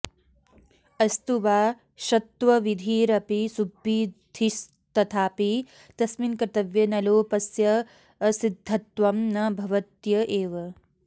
अस्तु वा षत्वविधिरपि सुब्बिधिस्तथापि तस्मिन् कर्तव्ये नलोपस्याऽसिद्धत्वं न भवत्येव